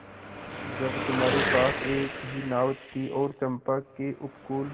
जब तुम्हारे पास एक ही नाव थी और चंपा के उपकूल